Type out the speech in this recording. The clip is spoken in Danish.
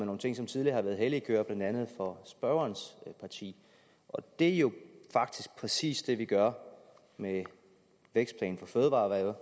nogle ting som tidligere har været hellige køer blandt andet for spørgerens parti det er jo faktisk præcis det vi gør med vækstplanen for fødevareerhvervet